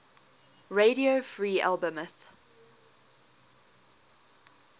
radio free albemuth